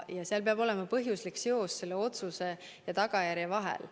Peab olema põhjuslik seos otsuse ja tagajärje vahel.